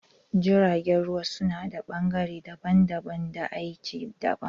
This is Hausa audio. Jiragen ruwa su nada bangare daban daban da aiki daban